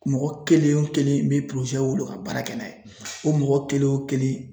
Mɔgɔ kelen o kelen n bɛ ka baara kɛ n'a ye o mɔgɔ kelen o kelen